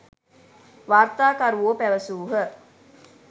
වාර්තාකරුවෝ පැවැසූහ.